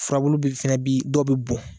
Furabulu fana bi dɔw bɛ bɔn